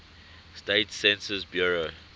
states census bureau